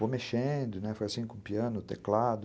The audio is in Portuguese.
Vou mexendo, foi assim como piano, teclado...